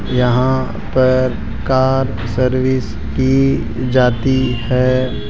यहां पर car service की जाती है।